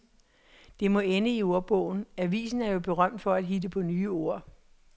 Det må ende i ordbogen, avisen er jo berømt for at hitte på nye ord.